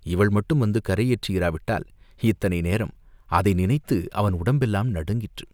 இவள் மட்டும் வந்து கரையேற்றியிராவிட்டால், இத்தனை நேரம், அதை நினைத்தபோது அவன் உடம்பெல்லாம் நடுங்கிற்று.